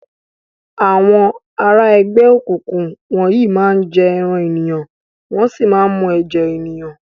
Awòn àrá ègbè ókúkú wòn yi má n jè èrán éniyán wòn si má n mú èjè éniyán